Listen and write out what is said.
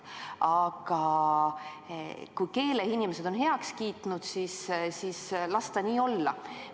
Aga kui keeleinimesed on heaks kiitnud, siis las ta nii olla.